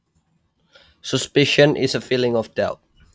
Suspicion is a feeling of doubt